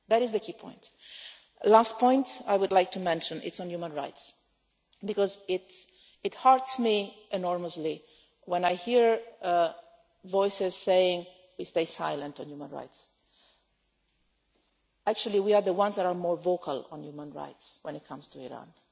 The last point I would like to mention is on human rights, because it hurts me enormously when I hear voices saying that we stay silent on human rights. Actually, we are the ones that are more vocal on human rights when it comes to